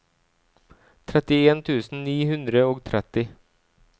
trettien tusen ni hundre og tretti